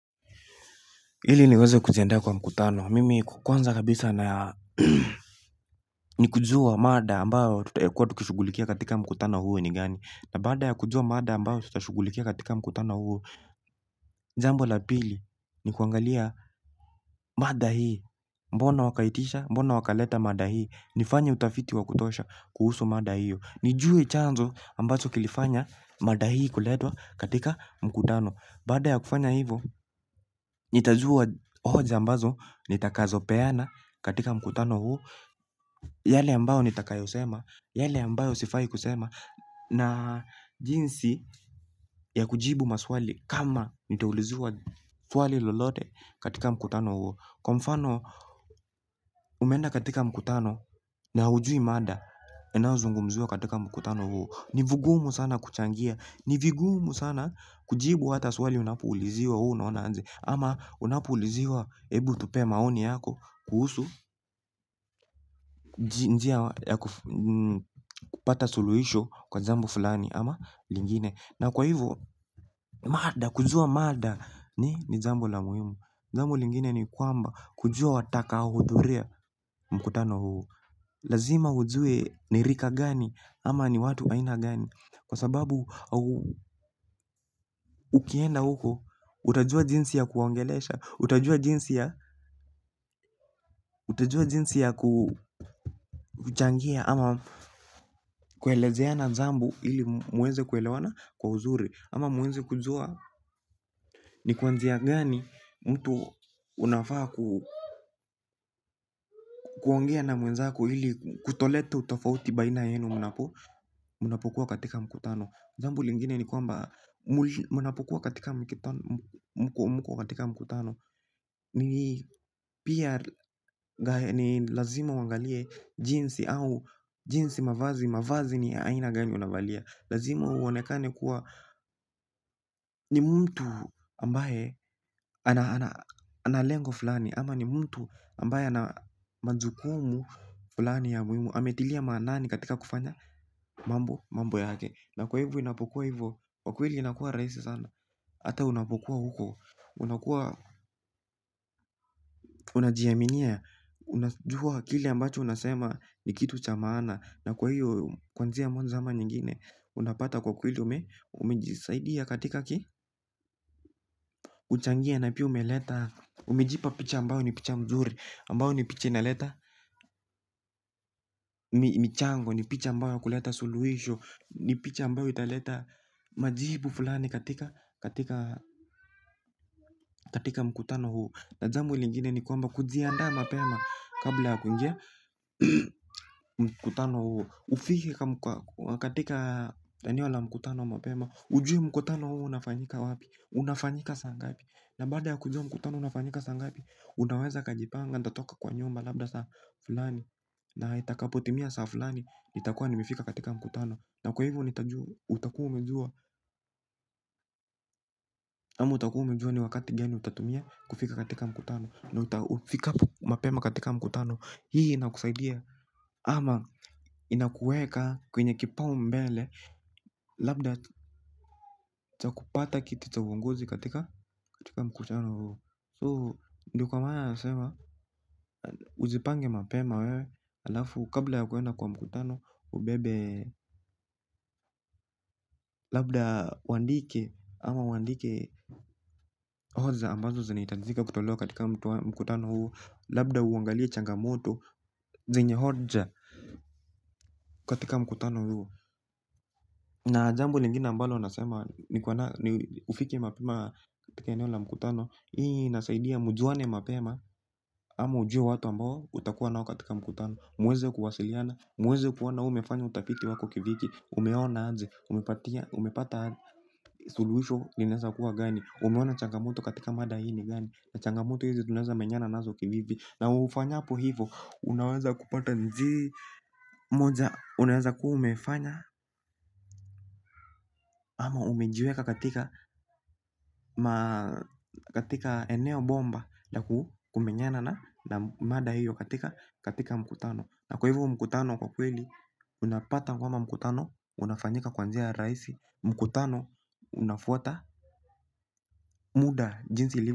Ili niweze kujiandaa kwa mkutano, mimi kwanza kabisa na ni kujua mada ambayo tutakuwa tukishugulikia katika mkutano huo ni gani. Na baada ya kujua mada ambayo tutashughulikia katika mkutano huo, jambo la pili ni kuangalia mada hii. Mbona wakaitisha, mbona wakaleta mada hii. Nifanye utafiti wa kutosha kuhusu mada hii. Nijue chanzo ambacho kilifanya mada hii kuletwa katika mkutano. Baada ya kufanya hivo, nitajua hoja ambazo, nitakazopeana katika mkutano huu. Yale ambayo nitakayosema, yale ambayo sifahi kusema na jinsi ya kujibu maswali kama nitauliziwa swali lolote katika mkutano huo. Kwa mfano, umeenda katika mkutano, na haujui mada, inayozungumziwa katika mkutano huo. Ni vigumu sana kuchangia. Ni vigumu sana kujibu hata swali unapouliziwa wewe unaona aje. Ama unapouliziwa, hebu tupee maoni yako kuhusu njia ya kupata suluhisho kwa jambo fulani ama lingine. Na kwa hivo mada kujua mada ni jambu la muhimu. Jambo lingine ni kwamba kujua watakaohudhuria mkutano huu. Lazima ujue ni rika gani ama ni watu aina gani. Kwa sababu ukienda huko utajua jinsi ya kuwaongelesha. Utajua jinsi ya kuchangia ama kuelezeana jambo ili mweze kuelewana kwa uzuri. Ama muweze kujua ni kwanzia gani mtu unafaa kuongea na mwezako ili kutoleta utofauti baina yenu mnapokuwa katika mkutano. Jambo lingine ni kwamba mnapokuwa katika mkutano ni lazima uangalie jinsi au jinsi mavazi, mavazi ni aina gani unavalia. Lazima uonekane kuwa ni mtu ambaye ana lengo fulani ama ni mtu ambaye ana majukumu fulani ya muhimu, ametilia maanani katika kufanya, mambo mambo yake na kwa hivyo inapokuwa hivyo kwa kweli inakuwa rahisi sana. Hata unapokuwa huko unakuwa unajiaminia. Unajua kile ambacho unasema ni kitu cha maana. Na kwa hiyo kuanzia mwanzo ama nyingine unapata kwa kweli umejisaidia katika kuchangia na pia umeleta umejipa picha ambayo ni picha mzuri. Ambayo ni picha inaleta michango ni picha ambayo kuleta suluhisho. Ni picha ambayo italeta majibu fulani katika katika mkutano huu na jambo lingine ni kwamba kujiandaa mapema kabla ya kuingia mkutano huo. Ufike katika eneo la mkutano mapema. Ujue mkutano huo unafanyika wapi. Unafanyika saa ngapi. Na baada ya kujua mkutano unafanyika saa ngapi, unaweza ukajipanga, nitatoka kwa nyumba labda saa fulani. Na itakapotimia saa fulani itakuwa nimefika katika mkutano. Na kwa hivo nitajua, utakuwa umejua ama utakuwa umejua ni wakati gani utatumia kufika katika mkutano. Na ufikapo mapema katika mkutano, hii inakusaidia ama inakuweka kwenye kipaumbele, labda cha kupata kiti cha uongozi katika, katika mkutano huo. So ndio kwa maana nasema ujipange mapema wewe, alafu kabla ya kuenda kwa mkutano, ubebe labda uandike ama uandike hoja ambazo zinahitajika kutolewa katika mkutano huo, labda uangalie changamoto zenye hoja katika mkutano huo. Na jambo lingine ambalo nasema ni ufike mapema katika eneo la mkutano, hii inasaidia mjuane mapema ama ujue watu ambao utakuwa nao katika mkutano. Mweze kuwasiliana, mweze kuona we umefanya utafiti wako kivipi. Umeona aje, umepata suluhisho linaeza kuwa gani. Umeona changamoto katika mada hii ni gani. Na changamoto hizi tunaweza menyana nazo kivipi. Na ufanyapo hivo, unaweza kupata njia moja unaweza kuwa umefanya ama umejiweka katika katika eneo bomba na kumenyana na mada hiyo katika mkutano. Na kwa hivyo mkutano kwa kweli unapata kwamba mkutano unafanyika kwa njia ya rahisi, mkutano unafuata muda jinsi li.